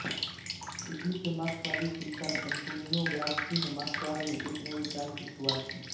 Italy के मार्क्सवादी चिंतन एंतोनियो ग्राम्शी ने मार्क्सवाद में एक नये विचार की शुरुआत की